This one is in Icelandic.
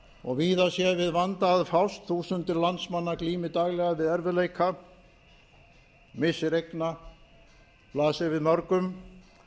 og víða sé við vanda að fást þúsundir landsmanna glími daglega við erfiðleika missir eigna blasi við mörgum